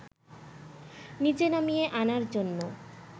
নিচে নামিয়ে আনার জন্য